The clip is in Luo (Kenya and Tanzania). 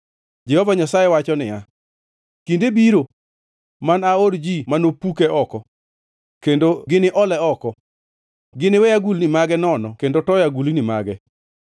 Jehova Nyasaye wacho niya, “Kinde biro, ma anaor ji manopuke oko, kendo gini ole oko; giniwe agulni mage nono kendo toyo agulni mage.